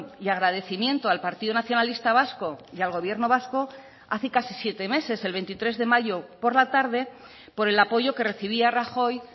y agradecimiento al partido nacionalista vasco y al gobierno vasco hace casi siete meses el veintitrés de mayo por la tarde por el apoyo que recibía rajoy